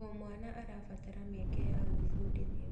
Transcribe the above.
O mwana arabatara mĩeke ya gwĩbundithia.